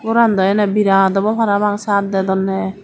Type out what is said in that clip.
goran daw ane virat abaw parapang saat dedonde.